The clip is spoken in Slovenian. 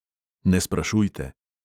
Ne sprašujte.